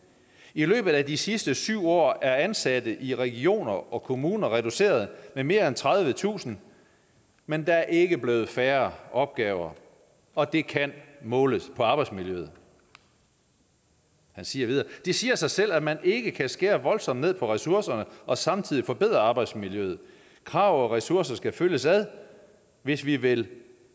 i løbet af de sidste syv år er ansatte i regioner og kommuner reduceret med mere end tredivetusind men der er ikke blevet færre opgaver og det kan måles på arbejdsmiljøet han siger videre det siger sig selv at man ikke kan skære voldsomt ned på ressourcerne og samtidig forbedre arbejdsmiljøet krav og ressourcer skal følges ad hvis vi vil